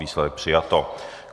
Výsledek: přijato.